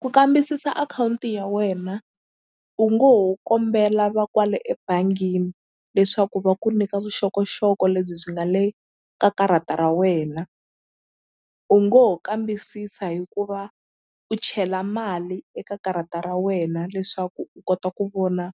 Ku kambisisa akhawunti ya wena u ngo ho kombela va kwale ebangini leswaku va ku nyika vuxokoxoko lebyi byi nga le ka karata ra wena u ngo ho kambisisa hikuva u chela mali eka karata ra wena leswaku u kota ku vona